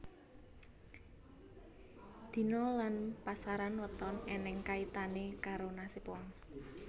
Dina Lan pasaran weton eneng kaitane karo nasib wong